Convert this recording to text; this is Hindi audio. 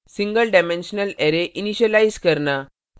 single dimensional array single dimensional arrays initialise करना